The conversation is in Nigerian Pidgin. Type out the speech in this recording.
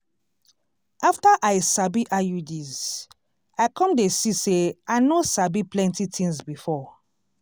after i sabi iuds i come dey see say i no sabi plenty tins before.